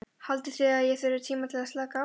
Haldið þið að ég þurfi tíma til að slaka á?